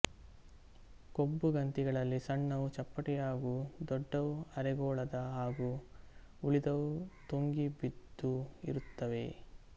ಕೊಬ್ಬುಗಂತಿಗಳಲ್ಲಿ ಸಣ್ಣವು ಚಪ್ಪಟೆಯಾಗೂ ದೊಡ್ಡವು ಅರೆಗೋಳದ ಹಾಗೂ ಉಳಿದವು ತೊಂಗಿ ಬಿದ್ದೂ ಇರುತ್ತವೆ